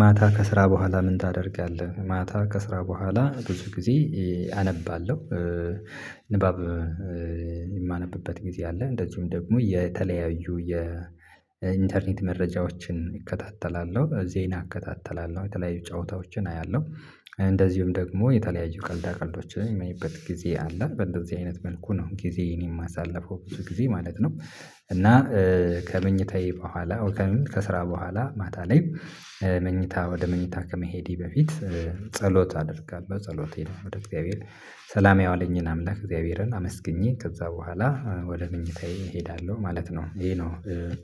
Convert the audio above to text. ማታ ከስራ በኋላ ምን ታደርጋለህ? ማታ ከስራ በኋላ ብዙ ጊዜ አነባለሁ። ንባብ የማነብበት ጊዜ አለ። እንደዚሁም ደግሞ የተለያዩ የኢንተርኔት መረጃዎችን እከታተላለሁ፣ ዜና እከታተላለሁ፣ የተለያዩ ጨዋታዎችን አያለሁ። እንደዚሁም ደግሞ የተለያዩ ቀልዳ ቀልዶችን የማይበት ጊዜ አለ። በእንደዚህ አይነት መልኩ ነው ጊዜ የማሳልፈው በብዙ ጊዜ ማለት ነው። እና ከመኝታዬ በኋላ ከስራ በኋላ ማታ ላይ መኝታ ወደ መኝታ ከመሄዴ በፊት ጸሎት አደርጋለሁ። ጸሎቴን ወደ እግዚአብሔር ሰላም ያዋለኝን አምላክ እግዚአብሔርን አመስግኜ ከዛ በኋላ ወደ ምኞታዬ እሄዳለሁ ማለት ነው። ይሄ ነው